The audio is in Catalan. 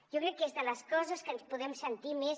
jo crec que és de les coses de les que ens podem sentir més